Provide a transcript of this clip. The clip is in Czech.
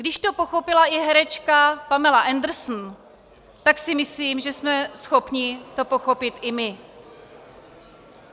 Když to pochopila i herečka Pamela Anderson, tak si myslím, že jsme schopni to pochopit i my.